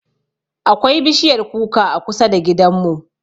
Akwai bishiyar kuka a kusa da gidanmu.